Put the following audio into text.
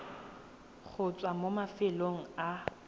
go tswa mo mafelong a